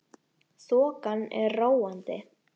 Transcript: Þokan er róandi